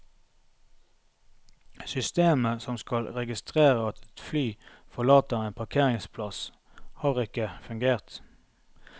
Systemet som skal registrere at et fly forlater en parkeringsplass, har ikke fungert.